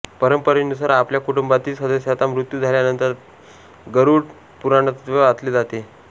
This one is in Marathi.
परंपरेनुसार आपल्या कुटूंबातील सदस्याचा मृत्यु झाल्यानंतरगरुड पुराणचे वाचले जाते